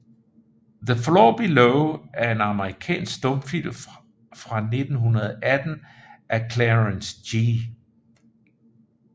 The Floor Below er en amerikansk stumfilm fra 1918 af Clarence G